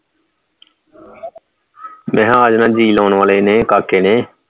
ਮੈਂ ਕਿਹਾ ਆ ਜਾਣਾ ਹੈ ਜੀ ਲਾਉਣ ਵਾਲੇ ਨੇ ਕਾਕੇ ਨੇ